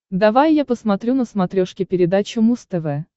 давай я посмотрю на смотрешке передачу муз тв